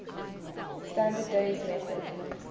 standard days method